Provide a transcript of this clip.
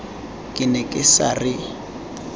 ke ne ke sa re